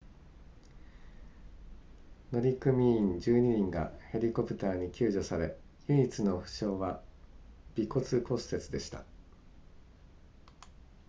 乗組員12人がヘリコプターに救助され唯一の負傷は鼻骨骨折でした